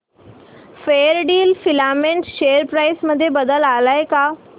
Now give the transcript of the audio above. Fairdeal filament share price मध्ये बदल आलाय का